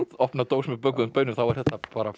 opna dós með bökuðum baunum þá er þetta